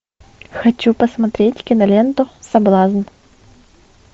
хочу посмотреть киноленту соблазн